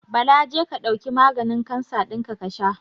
Bala je ka ɗauki maganin kansa dinka kasha.